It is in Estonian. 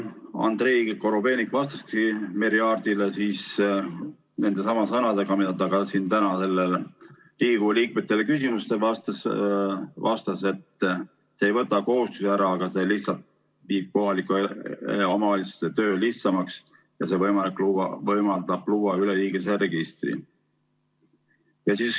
Andrei Korobeinik vastas Merry Aartile nendesamade sõnadega, nagu ta ka täna siin Riigikogu liikmete küsimustele vastas, et see ei võta kohustusi ära, vaid lihtsalt teeb kohalike omavalitsuste töö lihtsamaks ja võimaldab luua üleriigilise registri.